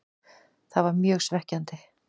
Það var mjög svekkjandi.